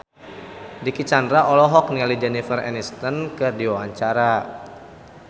Dicky Chandra olohok ningali Jennifer Aniston keur diwawancara